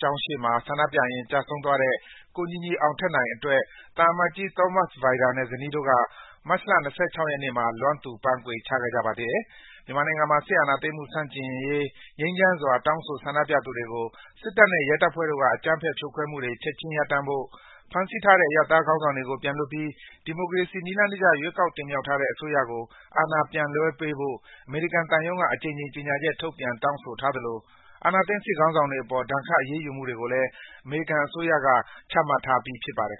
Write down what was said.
ကျောင်းရှေ့မှာ ဆန္ဒပြရင်း ကျဆုံးသွားခဲ့တဲ့ ကိုညီညီအောင်ထက်နိုင်အတွက် သံအမတ်ကြီး Thomas Vajda နဲ့ ဇနီးတို့က မတ်လ ၂၆ ရက်နေ့မှာ လွမ်းသူပန်းခွေ ချခဲ့ကြပါတယ်။ မြန်မာနိုင်ငံမှာ စစ်အာဏာသိမ်းမှုဆန့်ကျင်ရေး ငြိမ်းချမ်းစွာ တောင်းဆို ဆန္ဒပြသူတွေကို စစ်တပ်နဲ့ ရဲတပ်ဖွဲ့တို့က အကြမ်းဖက် ဖြိုခွဲမှုတွေ ချက်ခြင်း ရပ်တန့်ဖို့၊ ဖမ်းဆီးထားတဲ့ အရပ်သားခေါင်းဆောင်တွေကို ပြန်လွတ်ပြီး ဒီမိုကရေစီ နည်းလမ်းတကျ ရွေးကောက် တင်မြောက်ထားတဲ့ အစိုးရကို အာဏာပြန်လွှဲပေးဖို့ အမေရိကန်သံရုံးက အကြိမ်ကြိမ် ကြေညာချက်တွေထုတ်ပြန် တောင်းဆိုထားသလို အာဏာသိမ်း စစ်ခေါင်းဆောင်တွေအပေါ် ဒဏ်ခတ် အရေးယူမှုတွေကိုလည်း အမေရိကန်အစိုးရက ချမှတ်ထားပြီးပါတယ်